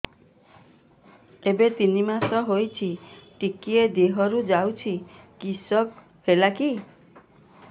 ଏବେ ତିନ୍ ମାସ ହେଇଛି ଟିକିଏ ଦିହରୁ ଯାଉଛି କିଶ ହେଲାକି